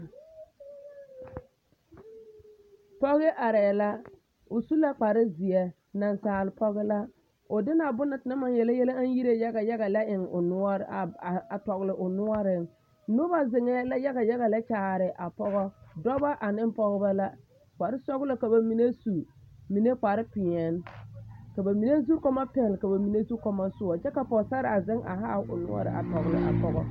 Pɔge arɛɛ la, o su la kpare zeɛ, nasaal pɔge la, o de la bone na tenaŋ maŋ yele yɛlɛ aŋ yire yaga yaga lɛ a eŋ o, a tɔgele o noɔreŋ, noba zeŋɛɛ la yaga yaga lɛ kyaare a pɔgɔ, dɔbɔ ane pɔgebɔ la kpare sɔgelɔ ka bamine su mine kpare peɛne ka bamine zukɔmɔ pɛle ka bamine zukɔmɔ soɔ kyɛ ka pɔgesaraa zeŋ a haa o noɔre a tɔgele a pɔgɔ.